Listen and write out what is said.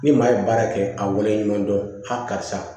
Ni maa ye baara kɛ a wale ɲuman dɔn a karisa